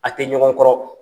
A tɛ ɲɔgɔn kɔrɔ.